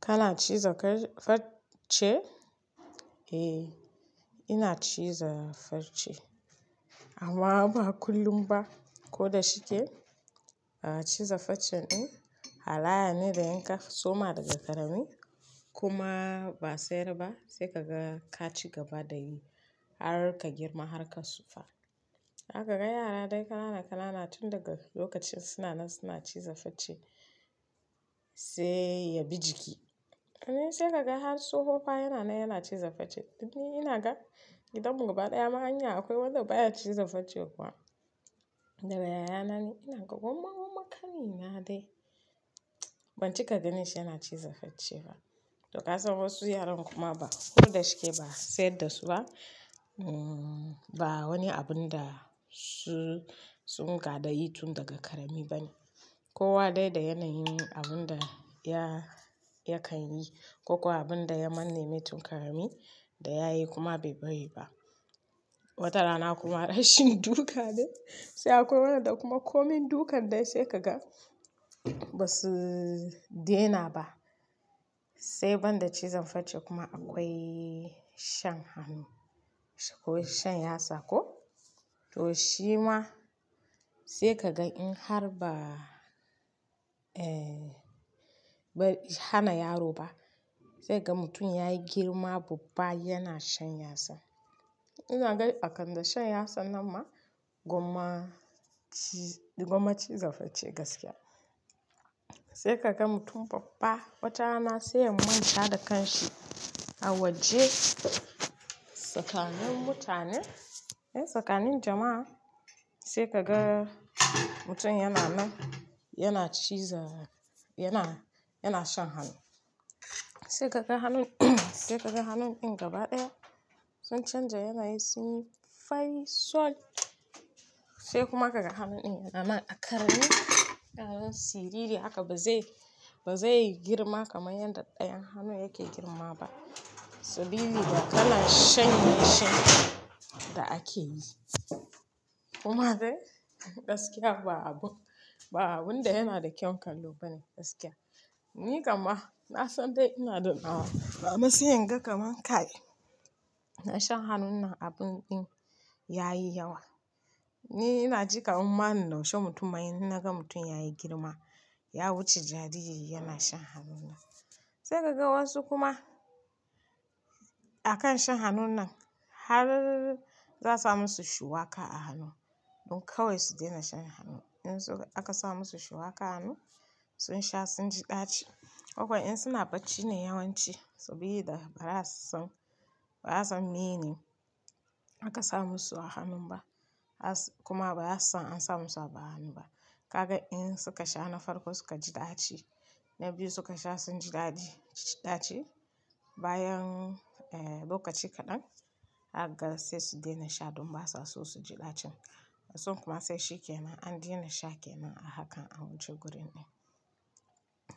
Kana ciza farce? Eh, ina ciza farce amma ba kullum ba. Ko da shike ciza farce din halayya ne da yanka soma daga ƙarami kuma ba sai da ba sai kaga ka ci gaba da yi har ka girma har ka tsufa. Haka ga yara dai kana da kanana tun daga lokacin suna nan suna ciza farce sai ya bi jiki. Wani sai kaga har tsoho fa yana nan yana ciza farce ni ina ga gidanmu gaba ɗaya ma hanya akwai wanda baya ciza farce kuwa. Da yaya na ne ina ga gwamma gwamma ƙanina dai ban cika gani shi yana ciza farce ba. To ka san wasu yaran kuma ba ko da shike ba sai da su ba, ba wani abun da su, sun ga da yi tun daga ƙarami ba ne. Kowa dai da yanayin abun da ya, ya kan yi ko kuwa abun da ya manne mai tun ƙarami da ya yi kuma bai bari ba. Wata rana kuma rashin duka ne sai akwai wanda kuma komai duk an dai sai kaga ba su dena ba. Sai banda cizon farce kuma akwai shan hannu, akwai shanya sako. To shi ma sai kaga in har ba, eh ba hana yaro ba sai kaga mutum yayi girma babba yana shanya sa. Ina gan a kan da shan yatsa nan ma gwamma ci, gwamma ciza farce gaskiya. Sai kaga mutum babba watana sai ya manta da kanshi a waje tsakanin mutane, yan tsakanin jama'a sai kaga mutum yana nan yana ciza, yana, yana shan hannu. Sai kaga hannun, sai kaga hannun din gaba ɗaya sun canja yanayi sun yi fai, soul sai kuma kaga hannun din yana ma a ƙarami ƙaramin siriri haka ba zai, ba zai yi girma kamar yadda ɗayan hannu yake girma ba sabida da kalan shan mai sha da ake yi. Kuma dai gaskiya ba abun, ba abun da yana da kyau kallo bane gaskiya. Ni gama na san dai ina da nawa, a masuyan ga kamar kai na shan hannun nan abun ɗin yayi yawa. Ni ina ji kamar mannaushe mutum ma in naga mutum yayi girma ya wuce jariri yana shan hannun nan. Sai kaga wasu kuma a kan shan hannun nan har za a su musu shuwaƙa a hannu don kawai su dena shan hannu. In su aka sa musu shuwaƙa a hannu sun sha sun ji ɗaci. Ko kuma in suna bacci ne yawanci saboda ba za su san, ba za su mini aka sa musu a hannun ba kuma ba za su san an sa musu a hannu ba. Kaga in suka sha na farko suka ji ɗaci na biyu suka sha sun ji ɗadi, ɗaci bayan eh lokaci kaɗan zaka ga sai su dena sha don ba sa so su ji ɗacin. Sun kuma sai shi kenan an dena sha ke nan a hakan a wuce gurin din.